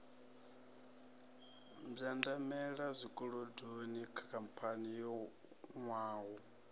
mbwandamela zwikolodoni khamphani yo nwaho